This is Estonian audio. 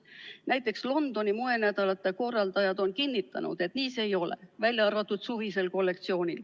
Aga näiteks Londoni moenädalate korraldajad on kinnitanud, et nii see ei ole, välja arvatud suvised kollektsioonid.